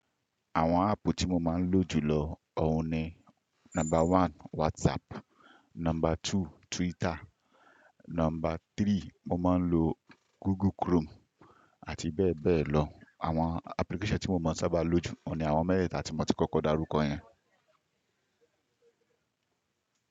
Àwọn app tí mo máa ń lò jù lọ óun ni: Number one, WhatsApp, number two, Twitter, number three, mo máa ń lo Google Chrome àti bẹ́ẹ̀ bẹ́ẹ̀ lọ. Àwọn application tí mo máa ń sábà lò jù, oun ni àwọn mẹ́teeta tí mo ti kọ́kọ́ darúkọ yẹn.